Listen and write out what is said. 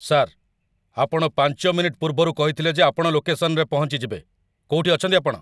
Sir, ଆପଣ ୫ minute ପୂର୍ବରୁ କହିଥିଲେ ଯେ ଆପଣ ଲୋକେସନ୍‌ରେ ପହଞ୍ଚିଯିବେ । କୋଉଠି ଅଛନ୍ତି ଆପଣ?